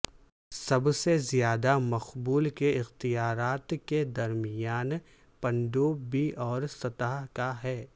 سب سے زیادہ مقبول کے اختیارات کے درمیان پنڈوببی اور سطح کا ہے